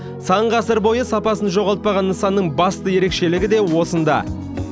сан ғасыр бойы сапасын жоғалтпаған нысанның басты ерекшелігі де осында